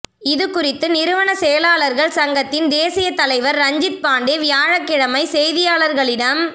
இதுகுறித்து நிறுவன செயலாளர்கள் சங்கத்தின் தேசியத் தலைவர் ரஞ்சித்பாண்டே வியாழக்கிழமை செய்தியாளர்களிடம்